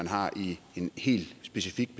har i en helt specifik